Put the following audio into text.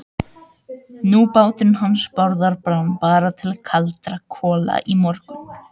Nú, báturinn hans Bárðar brann bara til kaldra kola í morgun.